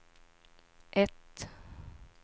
ett